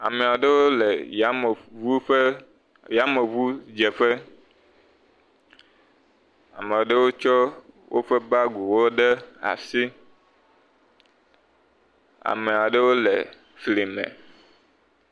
Ame aɖewo le yameŋu ƒe yameŋudzeƒe. Amea ɖewo tsɔ woƒe bagiwo ɖe asi. Ame aɖewo le fli me.